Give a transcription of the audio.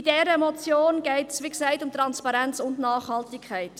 In dieser Motion geht es, wie gesagt, um Transparenz und Nachhaltigkeit.